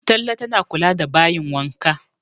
Talle tana kula da bayin wanka